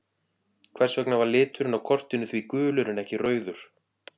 Hvers vegna var liturinn á kortinu því gulur en ekki rauður?